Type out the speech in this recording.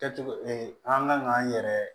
Kɛcogo an kan k'an yɛrɛ